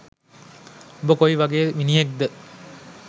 උඹ කොයි වගේ මිනිහෙක් ද